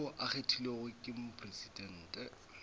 yo a kgethilwego ke mopresidente